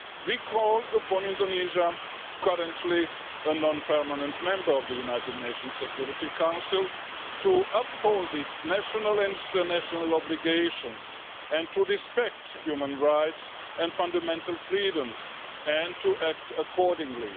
We call upon Indonesia, currently a non permanent member of the United Nations Security Council, to uphold its national and international obligations and to respect human rights and fundamental freedoms and act accordingly.